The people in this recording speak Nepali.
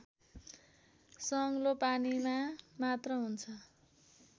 सङ्लो पानीमा मात्र हुन्छ